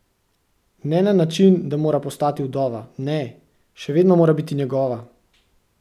Ne na način, da mora postati vdova, ne, še vedno mora biti njegova!